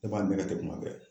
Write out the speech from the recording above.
Ne b'a nɛgɛ ten kuma bɛɛ